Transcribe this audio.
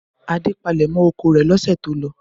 Adé palẹ̀mọ́ oko rẹ̀ lọ́sẹ̀ tó lọ?